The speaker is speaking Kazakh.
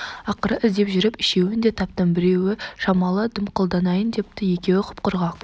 ақыры іздеп жүріп үшеуін де таптым біреуі шамалы дымқылданайын депті екеуі құп-құрғақ